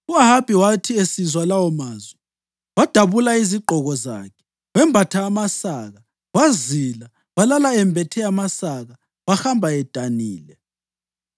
U-Ahabi wathi esizwa lawomazwi, wadabula izigqoko zakhe, wembatha amasaka wazila. Walala embethe amasaka wahamba edanile.